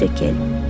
Bir şəkil.